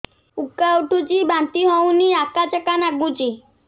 ଉକା ଉଠୁଚି ବାନ୍ତି ହଉନି ଆକାଚାକା ନାଗୁଚି